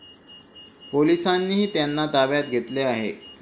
पोलिसांनीही त्यांना ताब्यात घेतले आहे.